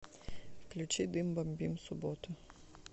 включи дым бомбим суббота